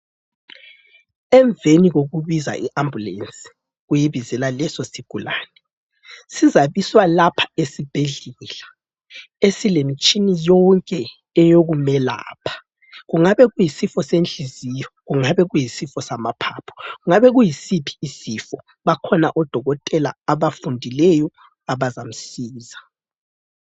Emveni kokubiza iAmbulensi ,uyibizela leso leso sigulane .Sizabiswa lapha esibhedlela ,esilemitshini yonke eyokumelapha. Kungabe kuyisifo senhliziyo ,kungabe kuyisifo samaphaphu ,kungabe kuyisiphi isifo . Bakhona odokothela abafundileyo abazamusiza.